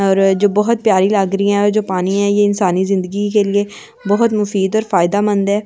और जो बहुत प्यारी लग रही है और जो पानी है यह इंसानी जिंदगी के लिए बहुत मुफीद और फायदामंद है।